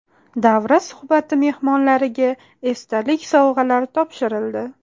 Davra suhbati mehmonlariga esdalik sovg‘alar topshirildi.